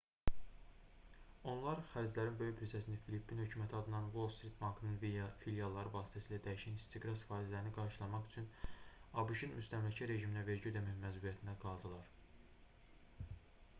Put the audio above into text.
onlar xərclərin böyük bir hissəsini və filippin hökuməti adından wall street bankının filialları vasitəsilə dəyişən istiqraz faizlərini qarşılamaq üçün abş-ın müstəmləkə rejiminə vergi ödəmək məcburiyyətində qaldılar